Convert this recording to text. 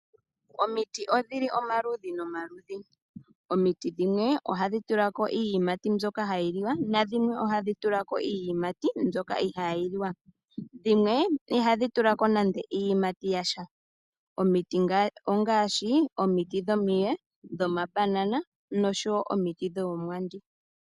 Omiti odhili omaludhi nomaludhi. Omiti dhimwe ohadhi tulako iiyimati mbyoka hayi liwa, nadhimwe ohadhi tulako iiyimati mbyoka ihayi liwa nadhimwe ihadhi tulako nando iiyimati yasha. Omiti ngaashi omiye, omabanana nomiti dhoomwandi.